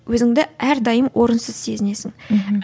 өзіңді әрдайым орынсыз сезінесің мхм